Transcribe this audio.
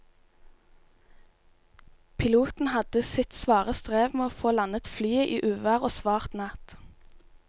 Piloten hadde sitt svare strev med å få landet flyet i uvær og svart natt.